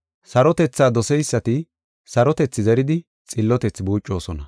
Sarotethaa doseysati sarotethi zeridi xillotethi buucosona.